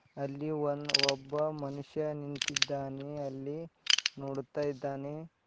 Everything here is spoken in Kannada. ಅಲ್ಲಿ ಒನ್ ಒಬ್ಬ ಮನುಷ್ಯ ನಿಂತಿದ್ದಾನೆ ಅಲ್ಲಿ ನೋಡುತ್ತಾ ಇದ್ದಾನೆ.